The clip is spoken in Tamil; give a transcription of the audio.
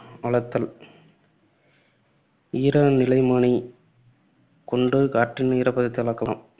அளத்தல் ஈரநிலைமானி கொண்டு காற்றின் ஈரப்பதத்தை அளக்கலாம்